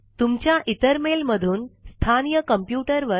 तुमच्या इतर मेल मधून तुमच्या स्थानिय कॉम्प्युटर वर